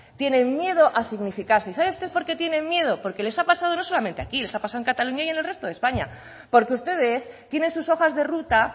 tienen miedo a significarse y sabe usted porqué tienen miedo porque les ha pasado no solamente aquí les ha pasado en cataluña y en el resto de españa porque ustedes tienen sus hojas de ruta